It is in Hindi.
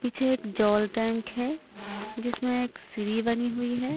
पीछे एक जॉल टैंक है जिसमें एक सीढ़ी बनी हुई है।